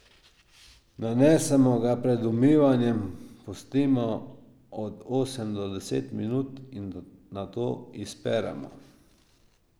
Nanesemo ga pred umivanjem, pustimo od osem do deset minut in nato izperemo.